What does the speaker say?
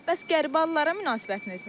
Bəs qəribə adlara münasibətiniz necədir?